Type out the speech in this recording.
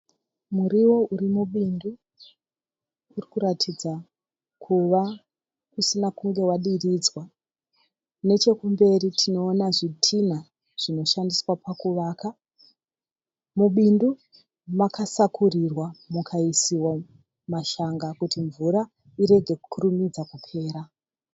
Muriwo uri mubindu. Urikuratidza kuva usina kunge wadiridzwa. Nechekumberi tinoona zvitinha zvinoshandiswa pakuvaka. Mubindu makasakurirwa mukaisiwa mashanga kuti mvura irege kukurumidza kupera.